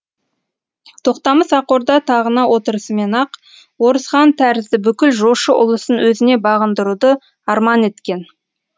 тоқтамыс ақ орда тағына отырысымен ақ орыс хан тәрізді бүкіл жошы ұлысын өзіне бағындыруды арман еткен